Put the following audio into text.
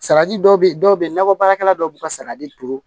Salati dɔw be yen dɔw be yen nakɔ baarakɛla dɔw b'u ka sagaji turu